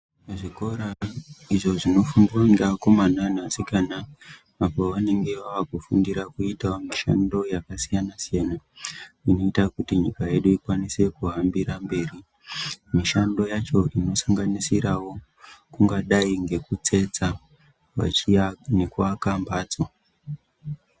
Zvikora izvo zvinofundwa ngeakomana ngeasikana apo vanonga vakufundira kuitavo mishando yakasiyana-siyana. Inoita kuti nyika yedu ikwanise kuhambira mberi mishando yacho inosanganisiravo kungadai ngekutsetsa machiya nekuaka mhatso.